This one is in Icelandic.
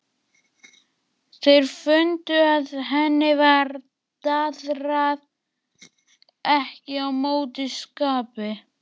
Þeir fundu að henni var daðrið ekki á móti skapi.